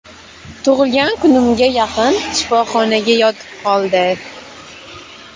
Tug‘ilgan kunimga yaqin shifoxonaga yotib qoldi.